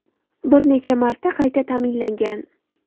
Bir necha marta qayta ta’mirlangan.